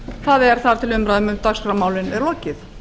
það er þar til umræðum um dagskrármálin er lokið